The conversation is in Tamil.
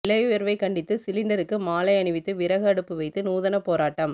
விலை உயர்வை கண்டித்து சிலிண்டருக்கு மாலை அணிவித்து விறகு அடுப்பு வைத்து நூதன போராட்டம்